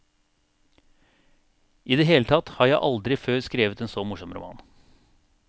I det hele tatt har jeg aldri før skrevet en så morsom roman.